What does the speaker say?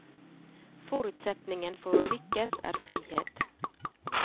Forutsetningen for å lykkes er frihet.